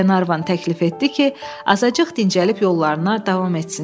Qlenarvan təklif etdi ki, azacıq dincəlib yollarına davam etsinlər.